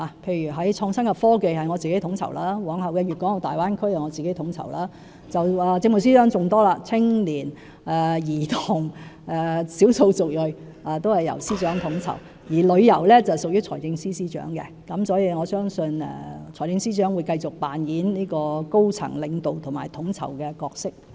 例如創新科技方面由我統籌，往後的粵港澳大灣區也是由我統籌；政務司司長的工作更多，青年、兒童、少數族裔等工作均由司長統籌；而旅遊則屬於財政司司長，所以我相信財政司司長會繼續擔當高層領導及統籌的角色。